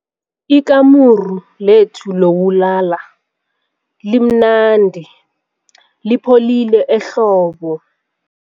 Ikamuru lethu lokulala limnandi lipholile ehlobo.